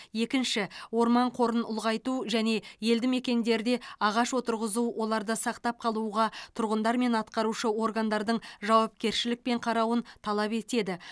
екінші орман қорын ұлғайту және елді мекендерде ағаш отырғызу оларды сақтап қалуға тұрғындар мен атқарушы органдардың жауапкершілікпен қарауын талап етеді